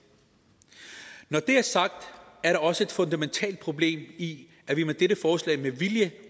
når det er sagt er der også et fundamentalt problem i at vi med dette forslag med vilje